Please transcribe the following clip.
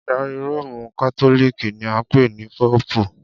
Adarí Róòmù Kátólíìkì ni a ń pè ní Póòpù.